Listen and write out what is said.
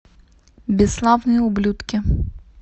бесславные ублюдки